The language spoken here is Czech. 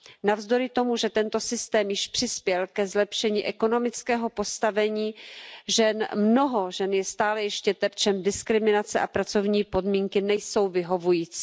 Navzdory tomu, že tento systém již přispěl ke zlepšení ekonomického postavení žen, mnoho žen je stále ještě terčem diskriminace a pracovní podmínky nejsou vyhovující.